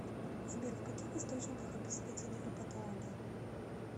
сбер в каких источниках описывается невропатология